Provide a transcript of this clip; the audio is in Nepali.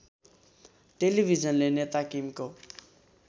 टेलिभिजनले नेता किमको